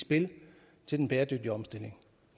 spil til den bæredygtige omstilling